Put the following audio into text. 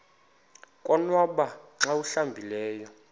konwaba xa awuhlambileyo